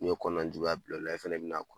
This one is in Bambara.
N'u ye kɔnɔnan juguya bila u la, e fɛnɛ be na